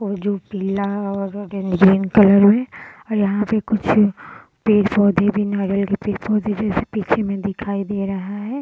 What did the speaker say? वो जो पिला और ग्रीन कलर में और यहाँ पे कुछ पेड़-पौधे भी नारियल के पेड़-पौधे जैसे पीछे में दिखाई दे रहा है।